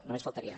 només faltaria